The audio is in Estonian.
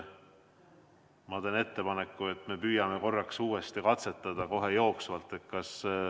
Ma teen ettepaneku, et me püüame uuesti katsetada kohe jooksvalt.